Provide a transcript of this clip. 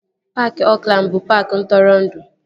Paaki Oakland bụ paaki ntụrụndụ